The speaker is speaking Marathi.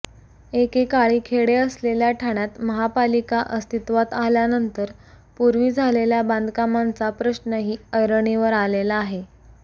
एकेकाळी खेडे असलेल्या ठाण्यात महापालिका अस्तित्वात आल्यानंतर पूर्वी झालेल्या बांधकामांचा प्रश्नही ऐरणीवर आलेला आहे